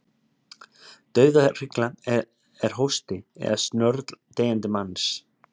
Dauðahrygla er hósti eða snörl deyjandi manns.